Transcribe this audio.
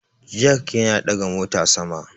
Jak Yana ɗaga mota sama